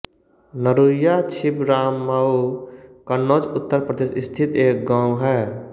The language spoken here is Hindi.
नरुइया छिबरामऊ कन्नौज उत्तर प्रदेश स्थित एक गाँव है